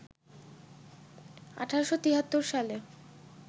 ১৮৭৩ সালে